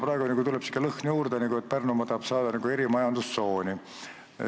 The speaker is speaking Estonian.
Praegu tuleb sihuke lõhn juurde, et Pärnumaa tahab saada nagu erimajandustsooni.